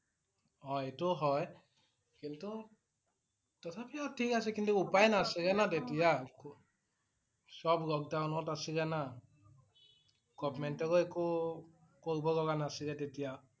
অ' এইটো হয় কিন্তু তথাপিও ঠিকে আছে কিন্তু উপায় নাছিল না তেতিয়া । সব lockdown ত আছিলে না । Government ৰ একো কৰিব লগীয়া নাছিল তেতিয়া ।